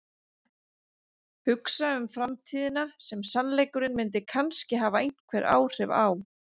Hugsa um framtíðina sem sannleikurinn myndi kannski hafa einhver áhrif á.